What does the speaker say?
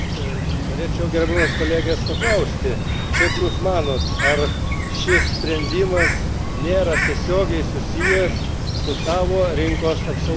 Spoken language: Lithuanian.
Norėčiau gerbiamos kolegės paklausti, kaip Jūs manote, ar šis sprendimas nėra tiesiogiai susijęs su savo rinkos apsauga?